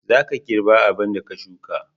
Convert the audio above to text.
Za ka girba abin da ka sukka.